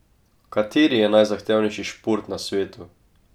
Kateri je najzahtevnejši šport na svetu?